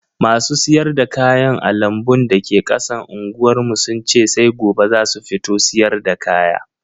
Masu siyar da kayan a lambun da ke kasan unguwar mu sun ce sai gobe zasu fito siyarda kaya.